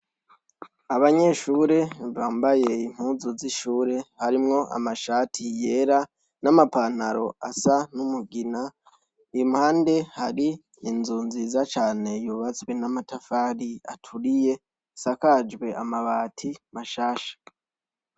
Abanyeshure bambaye impuzu z’ishure harimwo amashati yera n’amapantaro asa n’umugina, impande hari inzu nziza cane yubatswe n’amatafari aturiye asakajwe amabati mashasha.